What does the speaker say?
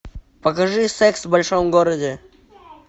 покажи секс в большом городе